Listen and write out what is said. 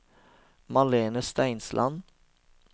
Malene Steinsland